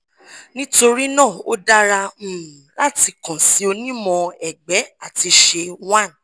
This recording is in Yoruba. nitorina o dara um lati kan si onimọ-ẹgbẹ ati ṣe one